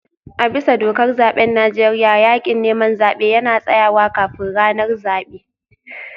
A bisa dokar zaben Najeriya, yakin neman zabe yana tsayawa kafin ranar zabe